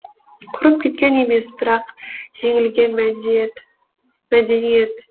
құрып кеткен емес бірақ жеңілген мәдениет